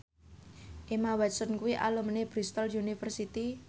Emma Watson kuwi alumni Bristol university